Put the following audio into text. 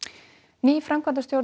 ný framkvæmdastjórn